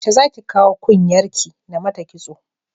Yaushe zaki kawo kun yar ki namata kitso?